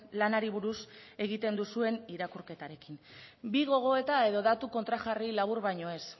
lanari buruz egiten duzuen irakurketarekin bi gogoeta edo datu kontrajarri labur baino ez